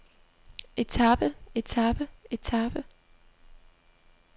etape etape etape